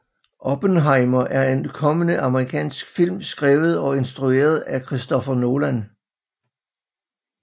Oppenheimer er en kommende amerikansk film skrevet og instrueret af Christopher Nolan